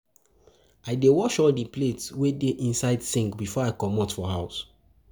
I dey wash all di plates wey dey inside sink before I comot for house.